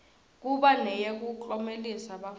kuba neyekuklomelisa bafundzi